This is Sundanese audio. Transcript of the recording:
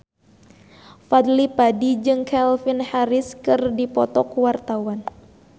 Fadly Padi jeung Calvin Harris keur dipoto ku wartawan